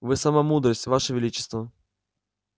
вы сама мудрость ваше величество